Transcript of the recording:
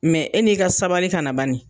e n'i ka sabali kana bani.